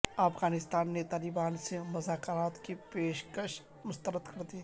افغانستان نے طالبان سے مذاکرات کی پیش کش مسترد کر دی